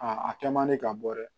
Aa a kɛ man di ka bɔ dɛ